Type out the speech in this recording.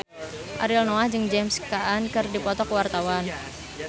Ariel Noah jeung James Caan keur dipoto ku wartawan